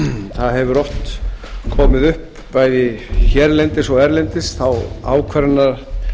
það hefur oft komið upp bæði hérlendis og erlendis þá ákvarðanatökur